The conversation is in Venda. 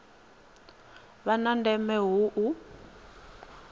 vha na ndeme hu u